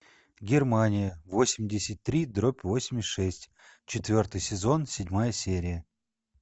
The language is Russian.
германия восемьдесят три дробь восемьдесят шесть четвертый сезон седьмая серия